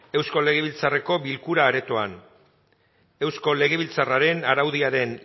eusko legebiltzarreko bilkura aretoan eusko legebiltzarraren araudiaren